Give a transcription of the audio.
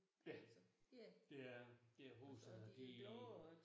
Ja. Det er det. Det er hovedsagen og det